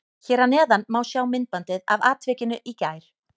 Hér að neðan má sjá myndbandið af atvikinu í gær.